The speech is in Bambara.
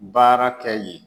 Baara kɛ yen